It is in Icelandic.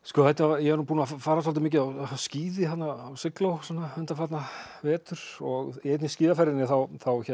ég er búinn að fara svolítið mikið á skíði á sigló undanfarna vetur og í einni skíðaferðinni þá